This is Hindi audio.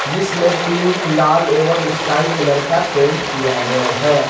जिस में पिंक लाल और स्काई कलर किया गया है।